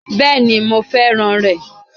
Béèni mo fẹ́ràn rè